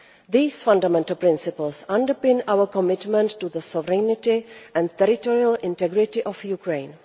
These fundamental principles underpin our commitment to the sovereignty and territorial integrity of Ukraine.